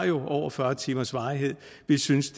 jo har over fyrre timers varighed vi synes